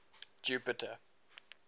jupiter